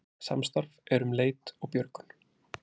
Samstarf um leit og björgun